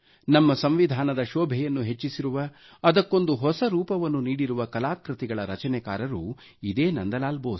ನಮ್ಮ ಸಂವಿಧಾನದ ಶೋಭೆಯನ್ನು ಹೆಚ್ಚಿಸಿರುವ ಅದಕ್ಕೊಂದು ಹೊಸ ರೂಪವನ್ನು ನೀಡಿರುವ ಕಲಾಕೃತಿಗಳ ರಚನೆಕಾರರು ಇದೇ ನಂದಲಾಲ್ ಬೋಸ್